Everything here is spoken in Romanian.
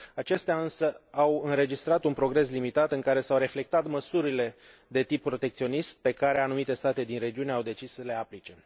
Acestea însă au înregistrat un progres limitat, în care s au reflectat măsurile de tip protecționist pe care anumite state din regiune au decis să le aplice.